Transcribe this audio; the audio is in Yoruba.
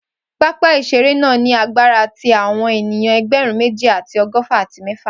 Papa iṣere naa ni agbara ti awọn eniyan ẹgbẹrun meji ati ọgọfa ati mẹfa.